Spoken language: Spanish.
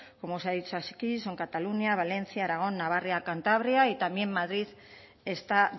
como se ha dicho aquí son cataluña valencia aragón navarra cantabria y también madrid está